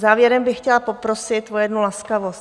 Závěrem bych chtěla poprosit o jednu laskavost.